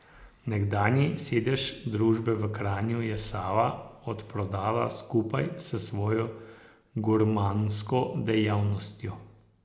Nekdanji sedež družbe v Kranju je Sava odprodala skupaj s svojo gurmansko dejavnostjo.